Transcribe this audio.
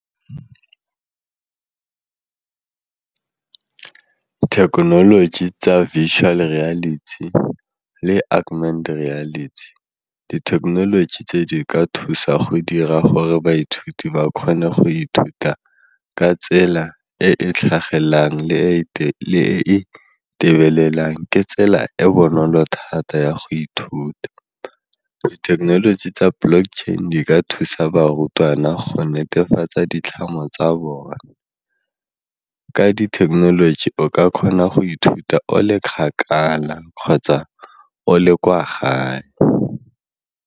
Thekenoloji tsa dithekenoloji tse di ka thusa go dira gore baithuti ba kgone go ithuta ka tsela e e tlhagellang le e e ke tsela e bonolo thata ya go ithuta. Dithekenoloji tsa block chain di ka thusa barutwana go netefatsa ditlhamo tsa bone, ka dithekenoloji o ka kgona go ithuta o le kgakala kgotsa o le kwa gae.